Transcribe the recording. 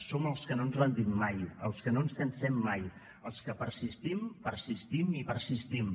som els que no ens rendim mai els que no ens cansem mai els que persistim persistim i persistim